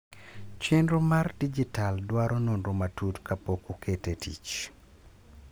chenro mar dijital dwaro nonro matut kapok okete e tich